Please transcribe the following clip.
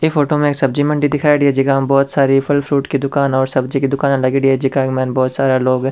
ई फोटो में एक सब्जी मंडी दिखायोडी है जेका में बहुत सारी फल फ्रूट की दुकान और सब्जी की दुकाना लागयोड़ी है जेका के मायने बहुत सारा लोग--